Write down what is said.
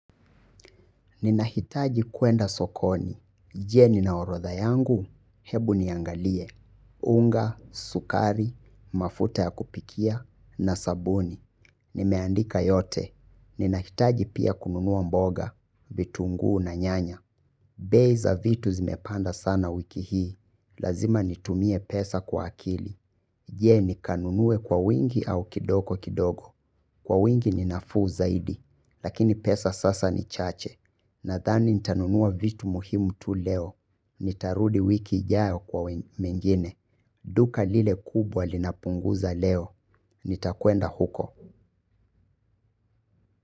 Ninahitaji kwenda sokoni. Je ninaorotha yangu, hebu niangalie. Unga, sukari, mafuta ya kupikia, na sabuni. Nimeandika yote. Ninahitaji pia kununua mboga, vitunguu na nyanya. Bei za vitu zimepanda sana wiki hii, lazima nitumie pesa kwa akili, je ni kanunue kwa wingi au kidogo kidogo, kwa wingi ninafuu zaidi, lakini pesa sasa ni chache, na thani nitanunua vitu muhimu tu leo, nitarudi wiki ijayo kwa mengine, duka lile kubwa linapunguza leo, nitakwenda huko.